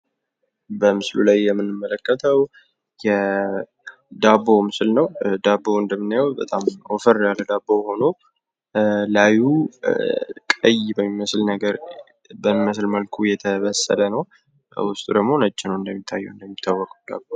በምስሉ ላይ የምንመለከተው የዳቦ ምስል ነው። ዳቦው እንግዲህ እንደምናየው በጣም ወፈር ብሎ ላዩ ቀይ በሚመስል መልኩ የተበሰለ ነው። በውስጡ ደግሞ ነጭ ነው እንደሚታየው